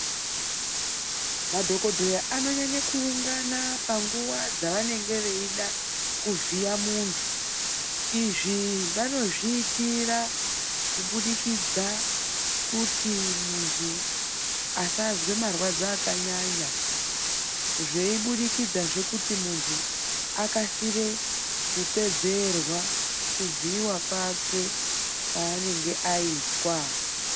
Madhokodheya anonyanya kuungana panguwa dzavanenge veida kuvhiya muntu. Izvi vanozviitira kubudikidza kuti muntu asazwe marwadzo akanyanya, zveibudikidzazve kuti muntu akasire kupedzerwa kuvhiyiwa kwake kwaanenge aitwa.